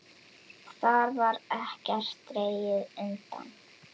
Þar var ekkert dregið undan.